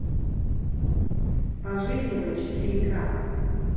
пожизненно четыре к